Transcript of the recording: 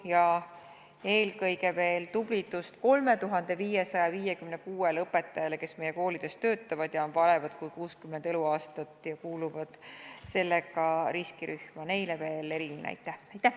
Ja eelkõige soovin tublidust 3556 õpetajale, kes meie koolides töötavad ja on vanemad kui 60 eluaastat, kuuludes seega riskirühma – neile veel eriline aitäh!